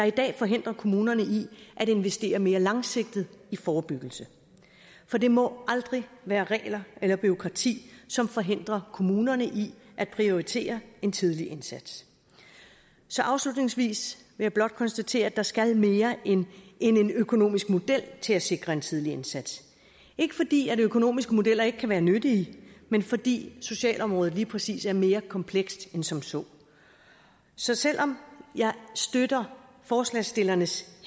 i dag forhindrer kommunerne i at investere mere langsigtet i forebyggelse for det må aldrig være regler eller bureaukrati som forhindrer kommunerne i at prioritere en tidlig indsats så afslutningsvis vil jeg blot konstatere at der skal mere end en økonomisk model til at sikre en tidlig indsats ikke fordi økonomiske modeller ikke kan være nyttige men fordi socialområdet lige præcis er mere komplekst end som så så selv om jeg støtter forslagsstillernes